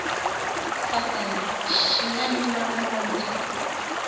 sathana xi nga ni mavondzo